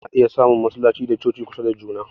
Ana iya samun masallatai da coci kusa da juna